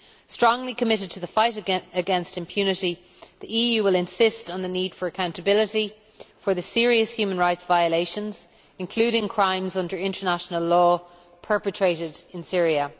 Strongly committed to the fight against impunity, the EU will insist on the need for accountability for the serious human rights violations, including crimes under international law, perpetrated in Syria.